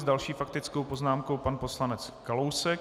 S další faktickou poznámkou pan poslanec Kalousek.